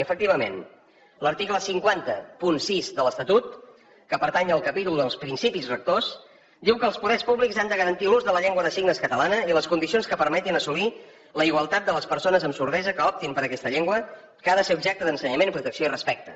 efectivament l’article cinc cents i sis de l’estatut que pertany al capítol dels principis rectors diu que els poders públics han de garantir l’ús de la llengua de signes catalana i les condicions que permetin assolir la igualtat de les persones amb sordesa que optin per aquesta llengua que ha de ser objecte d’ensenyament protecció i respecte